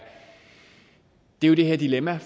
jo det her dilemma